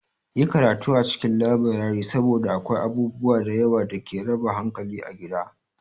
Yi karatu a cikin laburare saboda akwai abubuwa da yawa da ke raba hankali a gida.